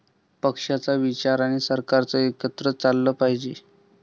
पक्षाचा विचार आणि सरकार एकत्र चाललं पाहिजे.